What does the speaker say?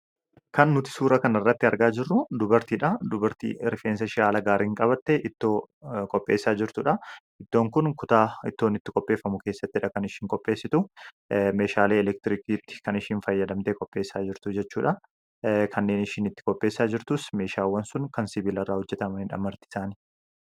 kan nuti suura kan irratti argaa jirru dubartiidha .Dubartii rifeensashii haala gaariin qabatte ittoo kopheessaa jirtuudha. Iddoon kun kutaa ittoon itti koppheeffamu keessatti dhakan ishiin koppheessitu meeshaala elektiriikiitti kan ishiin fayyadamte kopheessaa jirtu jechuudha. Kanneen ishiin itti kopheessaa jirtuus meeshaawwan sun kan sibiilirraa hojjetamaniidha martiisaanii.